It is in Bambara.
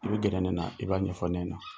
I bɛ gɛrɛ ne na, i b'a ɲɛfɔ ne ɲɛna.